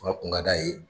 kun ka d'a ye